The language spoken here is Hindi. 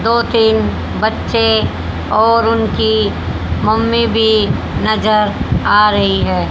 दो तीन बच्चे और उनकी मम्मी भी नजर आ रही है।